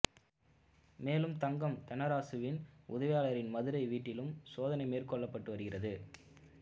மேலும் தங்கம் தென்னரசுவின் உதவியாளரின் மதுரை வீட்டிலும் சோதனை மேற்கொள்ளப்பட்டு வருகிறது